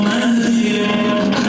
Nəzirim var.